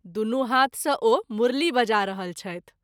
दुनू हाथ सँ ओ मुरली बजा रहल छथि।